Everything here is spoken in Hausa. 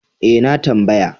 E, na tambaya.